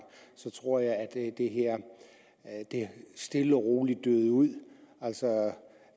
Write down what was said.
tror jeg at det her stille og roligt døde ud altså